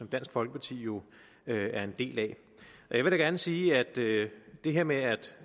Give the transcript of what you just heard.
dansk folkeparti jo er en del af og jeg vil da gerne sige at det her med at